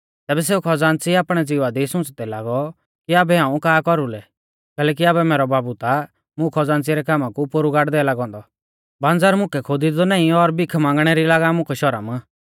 तैबै सेऊ खज़ान्च़ी आपणै ज़िवा दी सुच़दै लागौ कि आबै हाऊं का कौरुलै कैलैकि आबै मैरौ बाबु ता मुं खज़ान्च़ी रै कामा कु पोरु गाड़दै लागौ औन्दौ बांजर मुकै खोदिंदौ नाईं और भीखा मांगणा री लागा मुकै शौरम